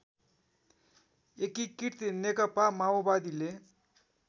एकीकृत नेकपा माओवादीले